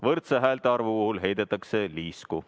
Häälte võrdse arvu korral heidetakse liisku.